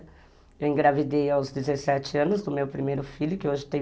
Eu engravidei aos dezessete anos do meu primeiro filho, que hoje tem